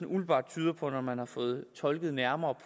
umiddelbart tyder på når man har fået tolket nærmere